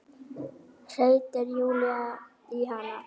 hreytir Júlía í hana.